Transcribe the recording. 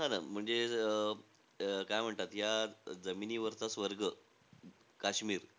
हा ना म्हणजे अं काय म्हणतात? या जमिनीवरचा स्वर्ग काश्मीर.